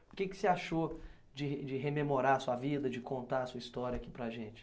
O que que você achou de de rememorar a sua vida, de contar a sua história aqui para a gente?